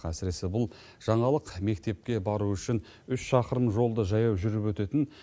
әсіресе бұл жаңалық мектепке бару үшін үш шақырым жолды жаяу жүріп өтетін